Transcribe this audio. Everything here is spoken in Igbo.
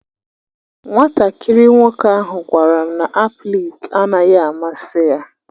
Nwatakịrị nwoke ahụ gwara m na aplịk naghị amasị ya.